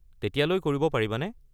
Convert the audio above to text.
তেতিয়ালৈ কৰিব পাৰিবানে?